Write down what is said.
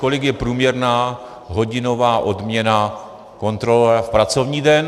Kolik je průměrná hodinová odměna kontrolora v pracovní den?